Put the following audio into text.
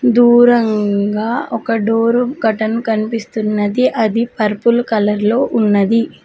దూరంగా ఒక door curtain కనిపిస్తున్నది అది పర్పుల్ కలర్ లో ఉన్నది